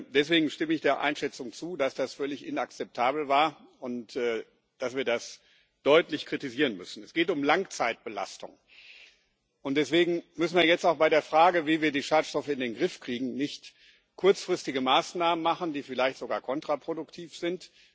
Deswegen stimme ich der Einschätzung zu, dass das völlig inakzeptabel war und dass wir das deutlich kritisieren müssen. Es geht um Langzeitbelastung, und deswegen dürfen wir jetzt auch bei der Frage, wie wir die Schadstoffe in den Griff kriegen, nicht kurzfristige Maßnahmen machen, die vielleicht sogar kontraproduktiv sind.